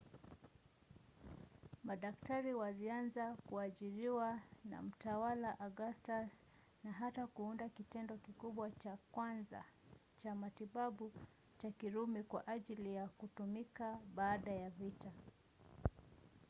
madaktari walianza kuajiriwa na mtawala augustus na hata kuunda kitengo kikubwa cha kwanza cha matibabu cha kirumi kwa ajili ya kutumika baada ya vita